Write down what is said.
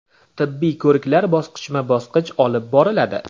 Tibbiy ko‘riklar bosqichma-bosqich olib boriladi.